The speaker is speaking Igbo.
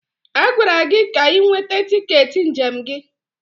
A gwara gị ka ị nweta tiketi njem gị!